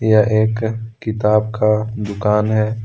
यह एक किताब का दुकान है।